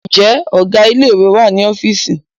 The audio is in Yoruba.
Ǹjẹ́ Ọ̀gá ilé ìwé wà ní ọ́fíìsì?